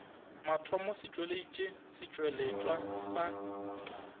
mathomo se tšweleditše setšweletšwa sa